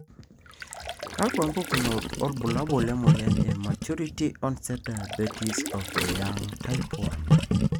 Kakwa mpukunot wobulabul lemoyian e Maturity onset diabetes of the young, type 1?